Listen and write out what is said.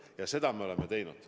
Ja seda me oleme teinud.